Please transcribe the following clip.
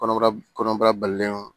Kɔnɔbara kɔnɔbara balilenw